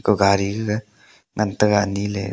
kaw gari gaga ngan taiga niley.